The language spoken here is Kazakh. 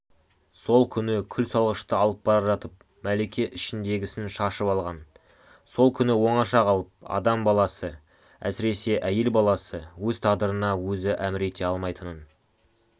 сол күні күл салғышты алып бара жатып мәлике ішіндегісін шашып алған сол күні оңаша қалып адам баласы әсіресе әйел баласы өз тағдырына өзі әмір ете алмайтынын